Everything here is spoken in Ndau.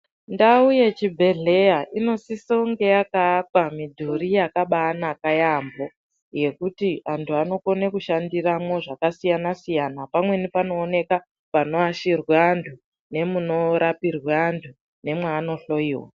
Ndau yechibhedhleya inosise kunge yakaakwa midhuri yakabanaka yambo yekuti antu anokone kushandiramwo zvakasiyana siyana pamweni panooneka panoashirwa antu nemunorapirwa antu nemwaanohloyiwa.